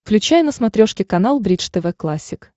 включай на смотрешке канал бридж тв классик